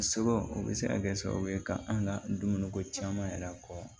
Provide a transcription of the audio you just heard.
Sɔrɔ o bɛ se ka kɛ sababu ye ka an ka dumuniko caman yɛrɛ fɔ